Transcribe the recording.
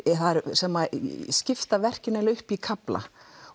sem skipta verkinu upp í kafla